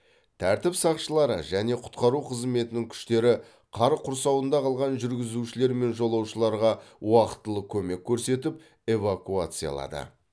тәртіп сақшылары және құтқару қызметінің күштері қар құрсауында қалған жүргізушілер мен жолаушыларға уақтылы көмек көрсетіп эвакуациялады